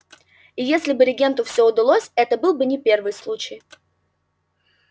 и если бы регенту всё удалось это был бы не первый случай